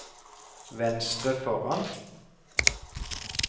venstre foran